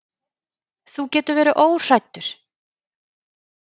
Þú getur verið óhræddur.